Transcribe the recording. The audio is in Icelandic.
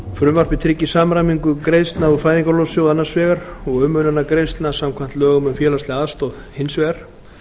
frumvarpið tryggir samræmingu greiðslna úr fæðingarorlofssjóði annars vegar og umönnunargreiðslna samkvæmt lögum um félagslega aðstoð hins vegar